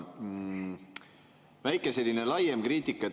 Väike, selline laiem kriitika.